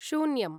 शून्यम्